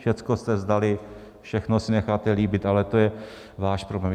Všecko jste vzdali, všechno si necháte líbit, ale to je váš problém.